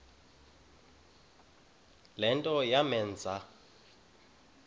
le nto yamenza